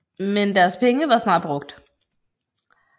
Men deres penge var snart brugt